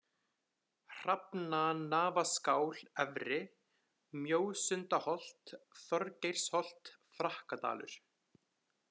Hrafnanafaskál-Efri, Mjósundaholt, Þorgeirsholt, Frakkadalur